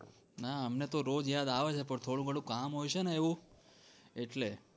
હા અમને તો રોજ યાદ આવે છે પણ થોડું ઘણું કામ હોય છે ને એવું એટલે